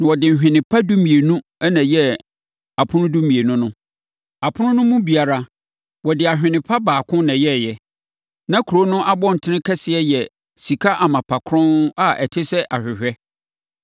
Na wɔde nhwene pa dumienu na ɛyɛɛ apono dumienu no. Apono no mu biara, wɔde ahene pa baako na ɛyɛeɛ. Na kuro no abɔntene kɛseɛ yɛ sika amapa kronn a ɛte sɛ ahwehwɛ.